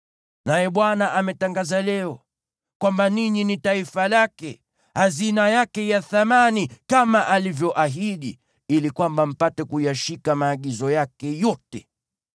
Naye Bwana ametangaza leo kwamba ninyi ni taifa lake, hazina yake ya thamani kama alivyoahidi, ili kwamba mpate kuyashika maagizo yake yote.